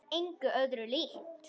Það er engu öðru líkt.